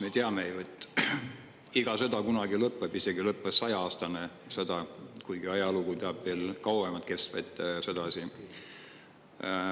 Me teame ju, et iga sõda kunagi lõpeb, lõppes isegi saja-aastane sõda, kuigi ajalugu teab veel kauem kestvaid sõdasid.